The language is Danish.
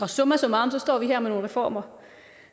summa summarum står vi her med nogle reformer